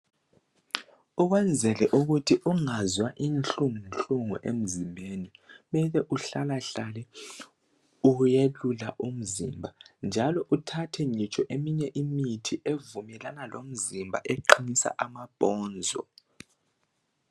Ukwenzela ukuthi ungazwa inhlungu nhlungu emzimbeni kuhlalahlale ubuyelula umzimba njalo uthathe ngitsho eminye imithi evumelana lomzimba eqinisa amabhonzo.